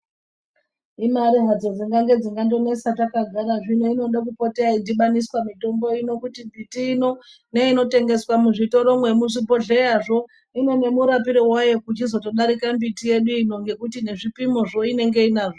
Imare hadzo dzingange dzingandonesa takagara zvino inode kupota yeyidhibamiswa mitombo ino kuti mbitiino neinotengeswa muzvitoro yemuzvibhohleyazvo inemurapire wayo kuchizotodarika mbitiyeduino ngekuti nezvipimozvo inenge inazvo.